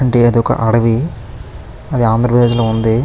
అంటే అది ఒక అడవి. అది ఆంధ్రప్రదేశ్ లో ఉంది.